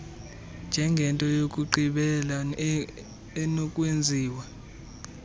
njengento yokugqibela enokwenziwa